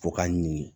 Fo k'a ɲini